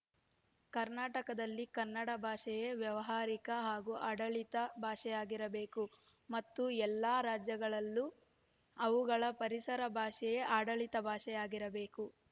ಕರ್ನಾಟಕದಲ್ಲಿ ಕನ್ನಡ ಭಾಷೆಯೇ ವ್ಯಾವಹಾರಿಕ ಹಾಗೂ ಆಡಳಿತ ಭಾಷೆಯಾಗಿರಬೇಕು ಮತ್ತು ಎಲ್ಲ ರಾಜ್ಯಗಳಲ್ಲೂ ಅವುಗಳ ಪರಿಸರ ಭಾಷೆಯೇ ಆಡಳಿತ ಭಾಷೆ ಆಗಿರಬೇಕು